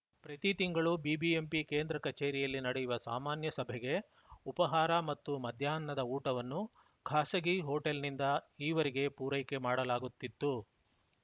ಪ್ರತಿ ತಿಂಗಳು ಬಿಬಿಎಂಪಿ ಕೇಂದ್ರ ಕಚೇರಿಯಲ್ಲಿ ನಡೆಯುವ ಸಾಮಾನ್ಯ ಸಭೆಗೆ ಉಪಹಾರ ಮತ್ತು ಮಧ್ಯಾಹ್ನದ ಊಟವನ್ನು ಖಾಸಗಿ ಹೋಟೆಲ್‌ನಿಂದ ಈವರೆಗೆ ಪೂರೈಕೆ ಮಾಡಲಾಗುತ್ತಿತು